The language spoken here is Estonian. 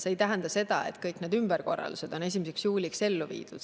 See ei tähenda seda, et kõik need ümberkorraldused on 1. juuliks ellu viidud.